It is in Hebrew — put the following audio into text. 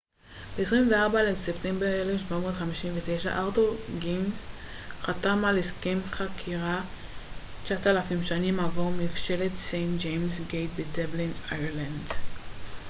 ב-24 לספטמבר 1759 ארתור גינס חתם על הסכם חכירה ל-9,000 שנים עבור מבשלת סיינט ג'יימס גייט בדבלין אירלנד